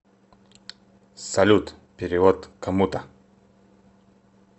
салют перевод кому то